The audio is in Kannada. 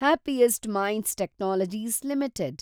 happiest minds technologies limited